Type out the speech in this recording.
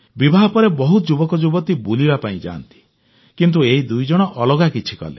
ବିବାହ ପରେ ବହୁତ ଯୁବକ ଯୁବତୀ ବୁଲିବା ପାଇଁ ଯାଆନ୍ତି କିନ୍ତୁ ଏହି ଦୁଇଜଣ ଅଲଗା କିଛି କଲେ